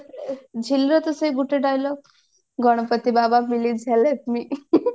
ଝିଲିର ତ ସେଇ ଗୋଟେ dialogue Ganapati Baba please help me